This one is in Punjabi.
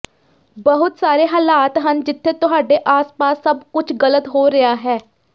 ਬਹੁਤ ਸਾਰੇ ਹਾਲਾਤ ਹਨ ਜਿੱਥੇ ਤੁਹਾਡੇ ਆਸ ਪਾਸ ਸਭ ਕੁਝ ਗਲਤ ਹੋ ਰਿਹਾ ਹੈ